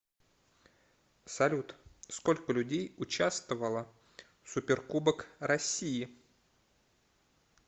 салют сколько людей участвовало в суперкубок россии